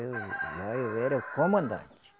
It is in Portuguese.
Eu, lá eu era o comandante.